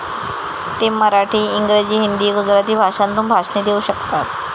ते मराठी, इंग्रजी, हिंदी, गुजराती भाषांतून भाषणे देऊ शकतात.